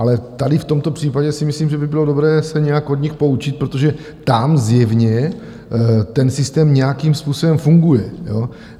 Ale tady v tomto případě si myslím, že by bylo dobré se nějak od nich poučit, protože tam zjevně ten systém nějakým způsobem funguje.